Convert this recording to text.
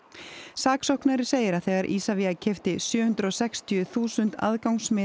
saksóknari segir að þegar Isavia keypti sjö hundruð og sextíu þúsund aðgangsmiða